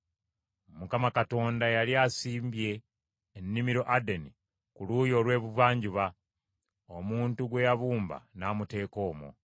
Mukama Katonda yali asimbye ennimiro Adeni ku luuyi olw’ebuvanjuba, omuntu gwe yabumba n’amuteeka omwo.